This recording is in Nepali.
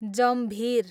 जम्भीर